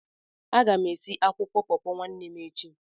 Aga m esi akwụkwọ pọọpọ nwanne echi.